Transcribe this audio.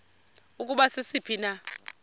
ukuba sisiphi na